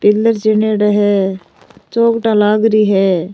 Pillar चिनेडा है चोखटा लाग री है।